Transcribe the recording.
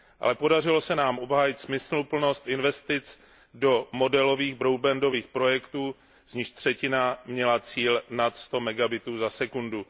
Ale podařilo se nám obhájit smysluplnost investic do modelových broadbandových projektů, z nichž třetina měla cíl nad 100 megabitů za sekundu.